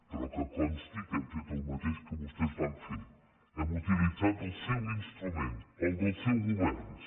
però que consti que hem fet el mateix que vostès van fer hem utilitzat el seu instrument el del seus governs